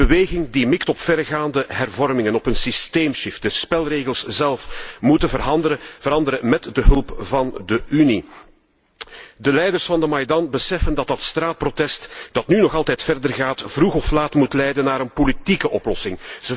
Die beweging mikt op verregaande hervormingen, op een systeemshift de spelregels zelf moeten veranderen met de hulp van de Unie. De leiders van de Maidan beseffen dat dat straatprotest, dat nu nog altijd doorgaat, vroeg of laat moet leiden naar een politieke oplossing.